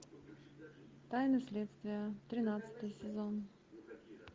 тайны следствия тринадцатый сезон